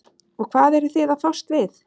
og hvað eruð þið að fást við?